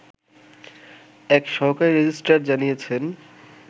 এক সহকারী রেজিস্ট্রার জানিয়েছেন